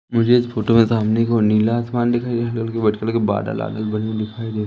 मुझे इस फोटो में सामने की ओर नीला आसमान दिखाई दे बादल आदल बनी हुई दिखाई--